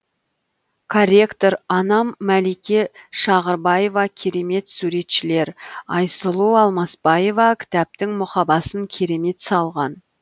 корректор анам малике шағырбаева керемет суретшілер айсұлу алмасбаева кітаптың мұқабасын керемет салған